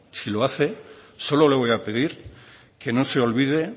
si lo hace solo le voy a pedir que no se olvide